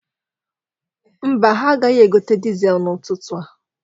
Mba, ha agaghị egote dizel n'ụtụtụ a.